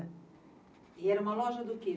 E era uma loja do quê?